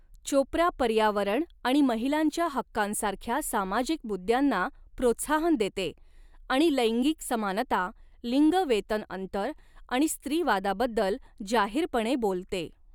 चोप्रा पर्यावरण आणि महिलांच्या हक्कांसारख्या सामाजिक मुद्द्यांना प्रोत्साहन देते आणि लैंगिक समानता, लिंग वेतन अंतर आणि स्त्रीवादाबद्दल जाहीरपणे बोलते.